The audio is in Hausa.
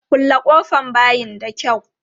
Kulle ƙofan bayin da kyau!